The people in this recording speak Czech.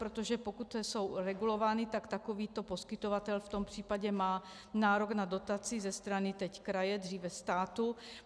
Protože pokud jsou regulovány, tak takovýto poskytovatel v tom případě má nárok na dotaci ze strany teď kraje, dříve státu.